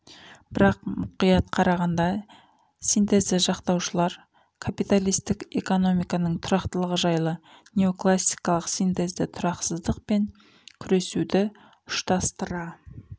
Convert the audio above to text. бірақ мұқият қарағанда синтезді жақтаушылар капиталистік экономиканың тұрақтылығы жайлы неоклассикалық синтезді тұрақсыздық пен күресуді ұштастыра